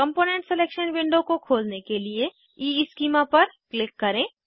component selection window को खोलने के लिए ईस्कीमा पर क्लिक करें